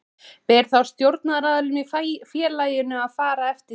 Ber þá stjórnaraðilum í félaginu að fara eftir því.